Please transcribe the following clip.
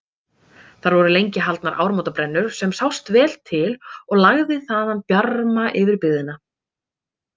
Þar voru lengi haldnar áramótabrennur sem sást vel til og lagði þaðan bjarma yfir byggðina.